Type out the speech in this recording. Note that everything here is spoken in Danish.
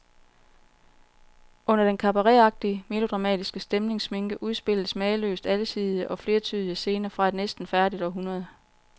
Under den cabaretagtige, melodramatiske stemningssminke udspilles mageløst alsidige og flertydige scener fra et næsten færdigt århundrede.